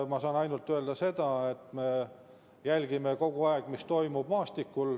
Ma saan öelda ainult seda, et me kogu aeg jälgime, mis maastikul toimub.